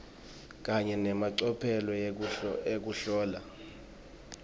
kanye nemacophelo ekuhlola